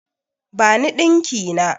Bani ɗinki na!